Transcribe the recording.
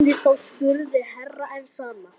Hvernig þá spurði Herra Enzana.